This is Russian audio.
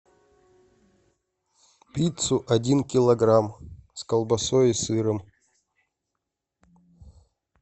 пиццу один килограмм с колбасой и сыром